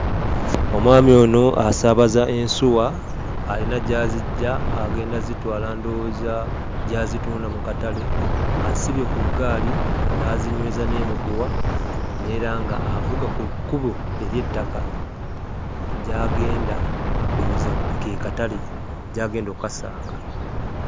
Omwami ono asaabaza ensuwa alina gy'aziggya agenda zitwala ndowooza gy'azitunda mu katale. Azisibye ku ggaali n'azinyweza n'emigwa, era nga avuga ku kkubo ery'ettaka gy'agenda ndowooza ke katale gy'agenda okkasanga.